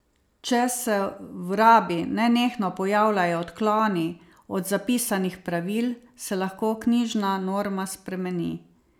Če se v rabi nenehno pojavljajo odkloni od zapisanih pravil, se lahko knjižna norma spremeni.